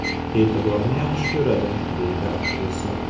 E’tiborni yaxshi ko‘radi”, deydi aktrisa.